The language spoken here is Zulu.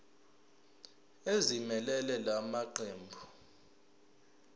ezimelele la maqembu